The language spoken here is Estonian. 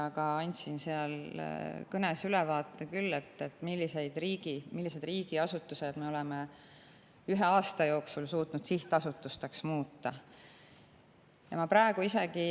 Ma andsin oma kõnes ülevaate, millised riigiasutused me oleme ühe aasta jooksul suutnud sihtasutuseks muuta.